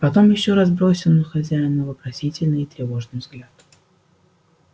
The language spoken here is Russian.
потом ещё раз бросил на хозяина вопросительный и тревожный взгляд